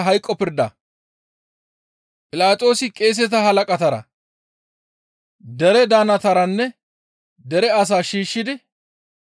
Philaxoosi qeeseta halaqatara, dere daannataranne dere asaa shiishshidi,